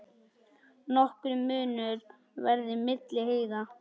Nokkur munur verði milli hæða.